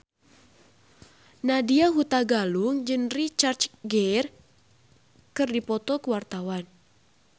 Nadya Hutagalung jeung Richard Gere keur dipoto ku wartawan